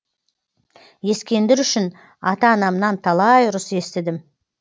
ескендір үшін ата анамнан талай ұрыс естідім